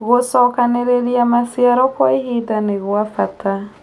Gũcokanĩrĩrĩa macĩaro kwa ĩhĩnda nĩgwa bata